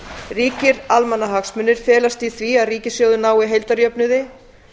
ríkir almannahagsmunir felast í því að ríkissjóður nái heildarjöfnuði